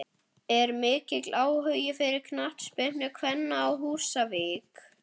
Er mikill áhugi fyrir knattspyrnu kvenna á Húsavík?